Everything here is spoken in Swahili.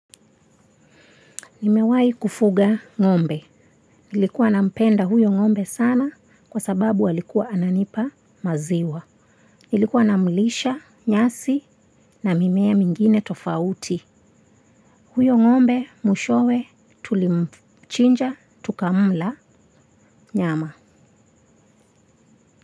Nimewahi kufuga ng'ombe. Nilikuwa nampenda huyo ng'ombe sana kwa sababu alikuwa ananipa maziwa. Nilikuwa namlisha, nyasi na mimea mingine tofauti. Huyo ng'ombe mwishowe tulimchinja, tukamla nyama.